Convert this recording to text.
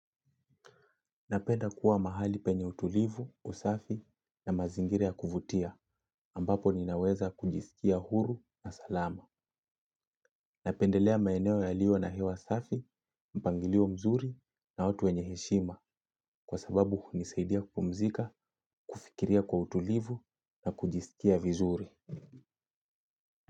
Napenda kuwa mahali penye utulivu, usafi na mazingira ya kuvutia, ambapo ninaweza kujisikia huru na salama. Napendelea maeneo yalio na hewa usafi, mpangilio mzuri na watu wenye heshima, kwa sababu hunisaidia kumzika kufikiria kwa utulivu na kujisikia vizuri.